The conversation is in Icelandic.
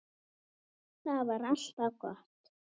Það var alltaf gott.